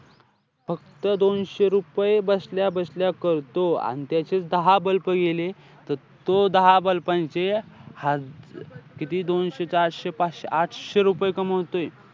तो दोनशे रुपये बसल्या-बसल्या करतो. अन त्याचे दहा bulb गेले त तो दहा bulb चे ह~ किती दोनशे चारशे पाचशे आठशे रुपये कमावतोय.